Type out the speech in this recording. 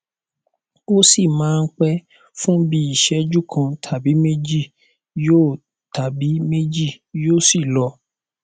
ó sì máa ń pẹ fún bí i ìṣẹjú kan tàbí méjì yóò tàbí méjì yóò sì lọ